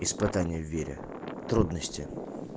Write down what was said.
испытание в вере трудности